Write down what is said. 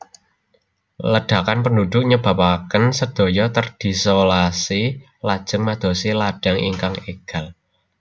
Ledakan penduduk nyebapaken sedaya terdislolasi lajeng madosi ladang ingkang eggal